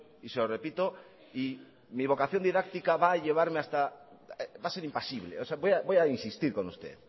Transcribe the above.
y se lo repito y mi vocación didáctica va a ser impasible voy a insistir con usted